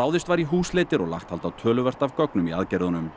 ráðist var í húsleitir og lagt hald á töluvert af gögnum í aðgerðunum